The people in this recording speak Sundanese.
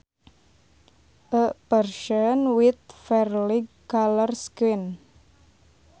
A person with fair light colored skin